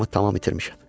Başımı tamam itirmişəm.